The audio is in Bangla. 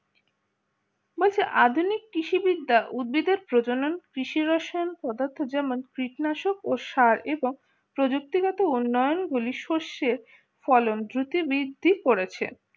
বলছি আধুনিক কৃষিবিদ্যা উদ্ভিদের প্রজনন কৃষি রসায়ন পদার্থ যেমন কৃত্তি নাশক ও সার এবং প্রযুক্তিগত উন্নয়নগুলি সর্ষের ফলন ভ্রুতি বৃদ্ধি করেছে